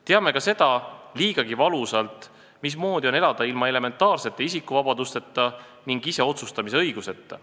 Teame ka seda liigagi valusalt, mismoodi on elada ilma elementaarsete isikuvabadusteta ning iseotsustamise õiguseta.